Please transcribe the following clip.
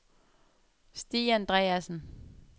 Stig Andreassen